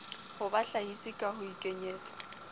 ho bahlahisi ka ho ikenyetsa